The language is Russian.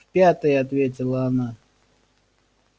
в пятый ответила она